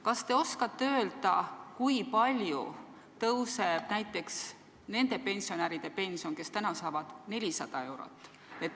Kas te oskate öelda, kui palju tõuseb näiteks nende pensionäride pension, kes saavad 400 eurot?